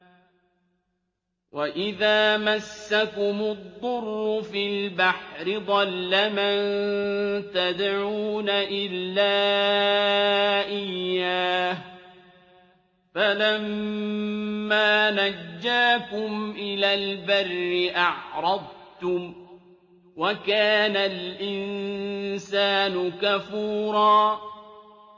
وَإِذَا مَسَّكُمُ الضُّرُّ فِي الْبَحْرِ ضَلَّ مَن تَدْعُونَ إِلَّا إِيَّاهُ ۖ فَلَمَّا نَجَّاكُمْ إِلَى الْبَرِّ أَعْرَضْتُمْ ۚ وَكَانَ الْإِنسَانُ كَفُورًا